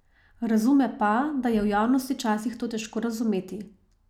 Razume pa, da je javnosti včasih to težko razumeti.